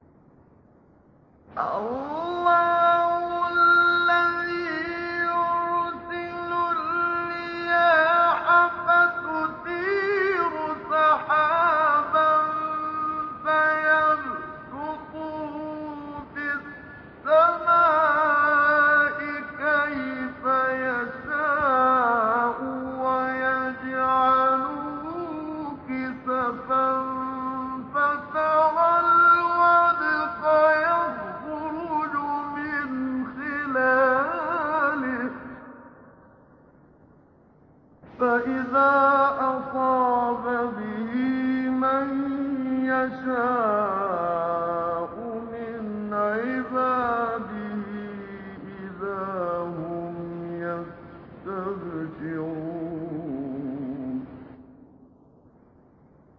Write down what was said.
اللَّهُ الَّذِي يُرْسِلُ الرِّيَاحَ فَتُثِيرُ سَحَابًا فَيَبْسُطُهُ فِي السَّمَاءِ كَيْفَ يَشَاءُ وَيَجْعَلُهُ كِسَفًا فَتَرَى الْوَدْقَ يَخْرُجُ مِنْ خِلَالِهِ ۖ فَإِذَا أَصَابَ بِهِ مَن يَشَاءُ مِنْ عِبَادِهِ إِذَا هُمْ يَسْتَبْشِرُونَ